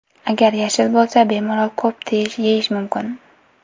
Agar yashil bo‘lsa, bemalol ko‘p yeyish mumkin.